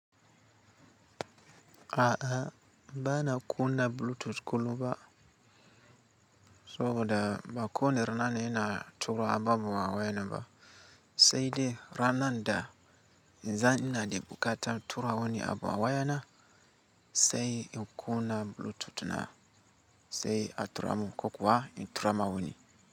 A'a, bana kunna Bluetooth kullum ba sabo da ba woni rana ina tura abubuwa wayan nan ba. Sai dai rana da idan ina da buƙatan tura woni abu a waya na sai in kunna Bluetooth na sai a tura mun. Ko kuwa in turama woni.